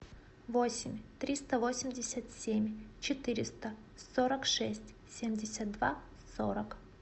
восемь триста восемьдесят семь четыреста сорок шесть семьдесят два сорок